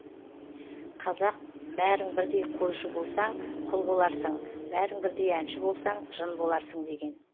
қазақ бәрің бірдей қойшы болсаң құл боларсың бәрің бірдей әнші болсаң жын боларсың деген